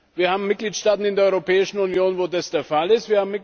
Wir haben Mitgliedstaaten in der Europäischen Union, wo das der Fall ist.